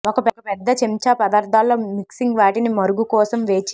ఒక పెద్ద చెంచా పదార్ధాల్లో మిక్సింగ్ వాటిని మరుగు కోసం వేచి